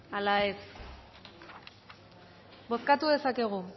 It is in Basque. ala ez bozkatu dezakegu